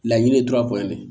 Laɲini ye dura ko ye dɛ